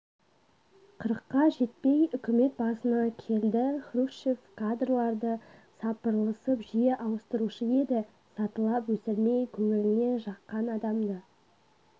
қырыққа жетпей үкімет басына келді хрущев кадрларды сапырылыстырып жиі ауыстырушы еді сатылап өсірмей көңіліне жаққан адамды